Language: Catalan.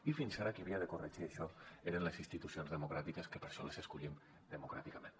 i fins ara qui havia de corregir això eren les institucions democràtiques que per això les escollim democràticament